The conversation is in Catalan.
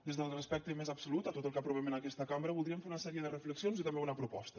des del respecte més absolut a tot el que aprovem en aquesta cambra voldríem fer una sèrie de reflexions i també una proposta